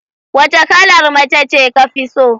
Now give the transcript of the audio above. Wace kalar mace ce ka fi so?